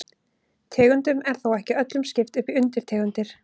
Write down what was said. Tegundum er þó ekki öllum skipt upp í undirtegundir.